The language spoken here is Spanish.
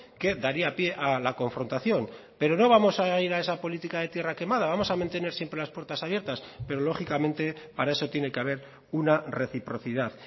que daría pie a la confrontación pero no vamos a ir a esa política de tierra quemada vamos a mantener siempre las puertas abiertas pero lógicamente para eso tiene que haber una reciprocidad